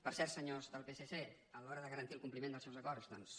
per cert senyors del psc a l’hora de garantir el compliment dels seus acords doncs